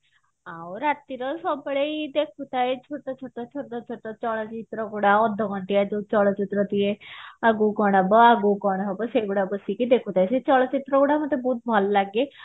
ଆଉ ରାତିରେ ସବୁବେଳେ ଏଇ ଦେଖୁଥାଏ ଛୋଟୋ ଛୋଟୋ ଛୋଟୋ ଛୋଟୋ ଚଳଚିତ୍ର ଗୁଡାକ ଅଧଘଣ୍ଟିଆ ଯୋଉ ଚଳଚିତ୍ର ଦିଏ ଆଗକୁ କଣ ହବ ଆଗକୁ କଣ ହବ ସେଇଗୁଡା ବସିକି ଦେଖୁଥାଏ ସେ ଚଳଚିତ୍ର ଗୁଡା ମତେ ବହୁତ ଭଲ ଲାଗେ